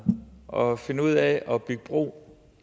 og finde ud af at bygge bro